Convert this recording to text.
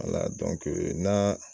na